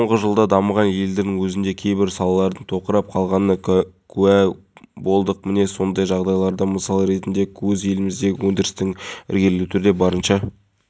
маусымда қазақстанда жарияланған террористік қауіптің сары орташа деңгейі ұзартылды ал шілде күні теракт алматыда болды департаменті